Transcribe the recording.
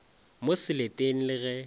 mo seleteng le ge e